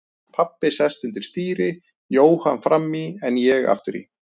Pabbi sest undir stýri, Jóhann fram í en ég aftur í.